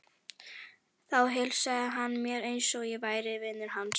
Þá heilsaði hann mér eins og ég væri vinur hans.